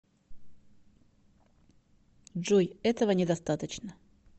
джой этого недостаточно